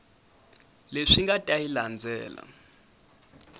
leswi nga ta yi landzela